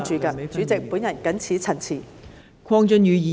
代理主席，我謹此陳辭。